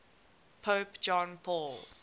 pope john paul